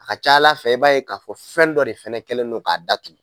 A ka ca ala fɛ i b'a ye k'a fɔ fɛn dɔ de fɛnɛ kelen don k'a da tugun.